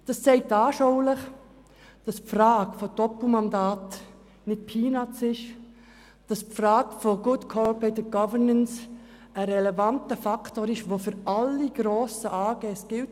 Dies zeigt anschaulich, dass die Frage der Doppelmandate nicht nebensächlich und die Frage der Good Corporate Governance ein relevanter Faktor ist, der für alle grossen Aktiengesellschaften gilt.